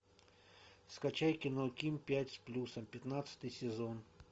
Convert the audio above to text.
скачай кино ким пять с плюсом пятнадцатый сезон